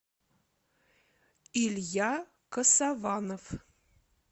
илья косованов